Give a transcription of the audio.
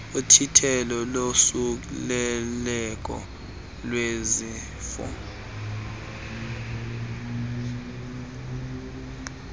uthintelo losuleleko lwezifo